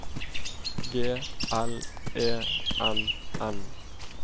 G L E N N